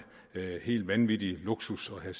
er en helt vanvittig luksus at